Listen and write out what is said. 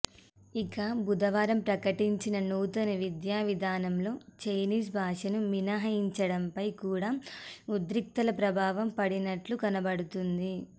ఇక బుధవారం ప్రకటించిన నూతన విద్యావిధానంలో చైనీస్ భాషను మినహాయించడంపై కూడా ఉద్రిక్తతల ప్రభావం పడినట్లు కనబడుతోంది